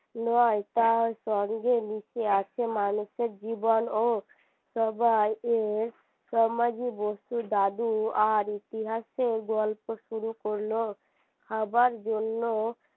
নয় তার সঙ্গে মিশে আছে মানুষের জীবন ও সবাই এর বস্তুর দাদু আর ইতিহাসের গল্প শুরু করল খাবার জন্য